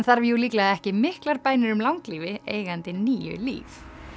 þarf jú líklega ekki miklar bænir um langlífi eigandi níu líf